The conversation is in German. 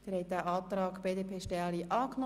Sie haben den Antrag BDP angenommen.